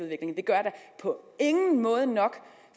vi gør da på ingen måde nok